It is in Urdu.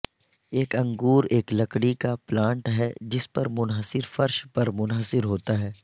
ایک انگور ایک لکڑی کا پلانٹ ہے جس پر منحصر فرش پر منحصر ہوتا ہے